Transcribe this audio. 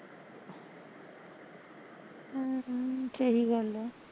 ਹਮ ਸਹੀਂ ਗੱਲ ਐ